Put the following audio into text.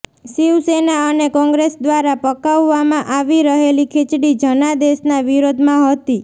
શિવસેના અને કોંગ્રેસ દ્વારા પકાવવામાં આવી રહેલી ખીચડી જનાદેશના વિરોધમાં હતી